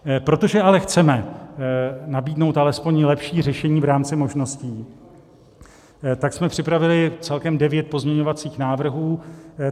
Protože ale chceme nabídnout alespoň lepší řešení v rámci možností, tak jsme připravili celkem devět pozměňovacích návrhů.